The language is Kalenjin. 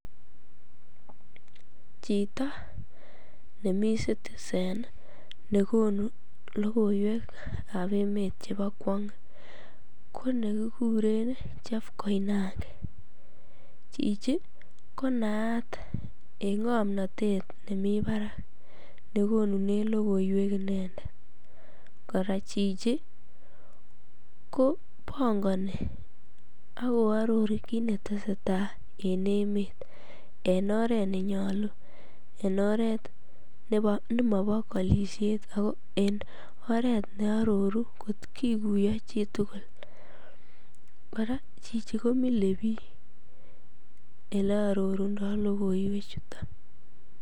Chito nemoi citizen nii nekonu lokoiwek ab emet chebo kwony ko nekikure nii chef koinange chichi konaat en ngomnotet nemii barak nekonununen lokoiwek inendet. Koraa chichi kopongoni ak ko ororu kit netesetai en emet en oret nenyolu en oret nebo nemobo kolishet ako en oret neo ororu kot kokuyo chitukul Koraa chichi komile bik ole ororundo lokoiwek chuton.